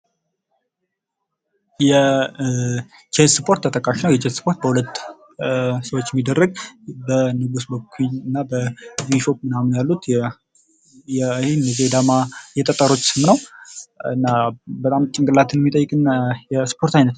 የቼዝ ስፖርት ተጠቃሽ ነው። የቼዝ ስፖርት በሁለት ሰዎች የሚደረግ በኩይንና ቢሾፕ ምናምን ያሉት ነው ።ይህም የዳማ የጠጠሮች ስም ነው። በጣም ጭንቅላትን የሚጠይቅ የስፖርት ዓይነት ነው።